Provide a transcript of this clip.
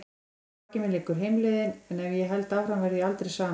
Að baki mér liggur heimleiðin- en ef ég held áfram verð ég aldrei samur.